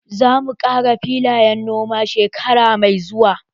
Zamu ƙara filayen noma shekara mai zuwa